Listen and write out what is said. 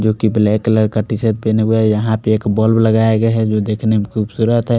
जोकि black colour का T shirt पहने हुआ है यहां पे एक बल्ब लगाया गया है जो देखने मे खूबसूरत है।